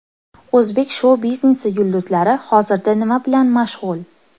O‘zbek shou-biznesi yulduzlari hozirda nima bilan mashg‘ul ?